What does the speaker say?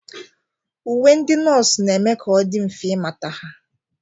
Uwe ndị nọọsụ na-eme ka ọ dị mfe ịmata ha.